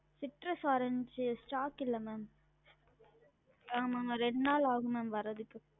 Citrus orange stock இல்ல ma'am ஆமாமா ரெண்டு நாள் ஆகும் ma'am வரதுக்கு